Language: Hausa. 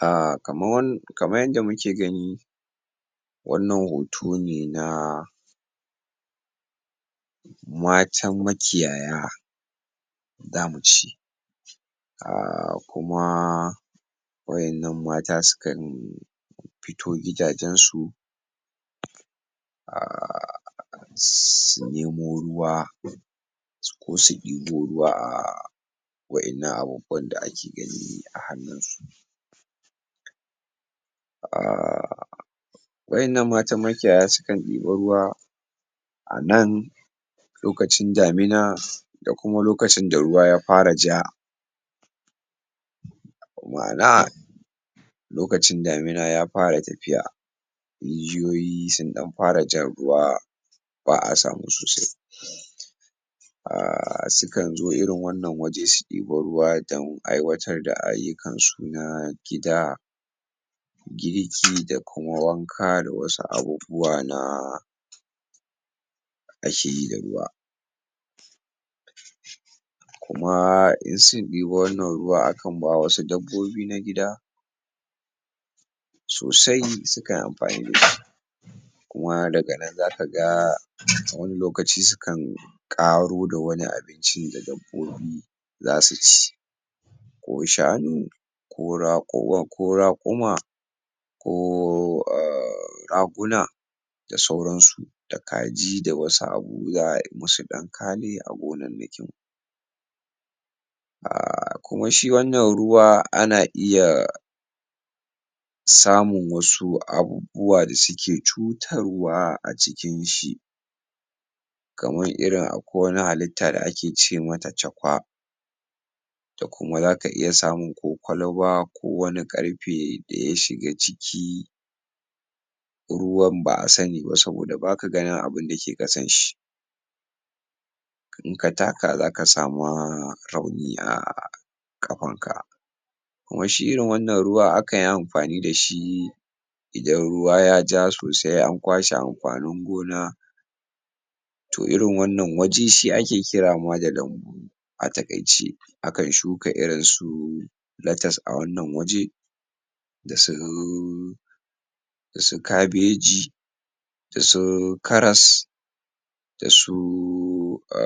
A kaman kamar yadda muke gani wannan hoto ne na matan makiyaya za mu ce a kuma wa'innan mata sukan fito gidajensu su nemo ruwa ko su ibo ruwa a a wa'innan ababben da ake gani a hannunsu. um waɗannan matan makiyaya sukan ɗiba ruwa a nan lokacin damina da kuma lokacin da ruwa ya fara ja ma'ana lokacin damin ya fara tafiya. rijiyoyi sun ɗan fara jan ruwa ba a samu sosai. a sukan zo irin wannan wuri su ɗabi ruwa don aiwatar da ayyukan su irin na gida girki da kuma wanka da wasu abubuwa na a ke yi da ruwa amma in sun ɗibi wannan ruwa akan ba wa wasu dabbobi na gida sosai sukan amfani da su. kuma daga nan za ka ga wani lokacin sukan ƙaro daga wani abincin da dabbobi za su ci ko shanu ko raƙuma ko a raguna da sauransu da kaji da wasu abubuwa a musu ɗan kale a gonannaki. kuma shi wannan ruwa ana iya samun wasu abubbuwa da suke cutar wa a cikin shi. akamr irin akwai wata halitta da ake ce mata cakwa. da kuma za ka iya samun ko kwalba ko wani ƙarfe da ya shiga ciki, ruwan ba a sani ba saboda ba ka ganin abinda ke ƙasan shi. in ka taka za ka sama rauni a ƙafarka. kuma shi irin wannan ruwan akan yi amfani da shi idan ruwa ya ja sosai an kwashe amfanin gona to irin wannan wuri ma shi ake kira ma da lambu a taƙaice. A kan shuka irinsu latas a wannan waje da su da su kabeji da su karas da su a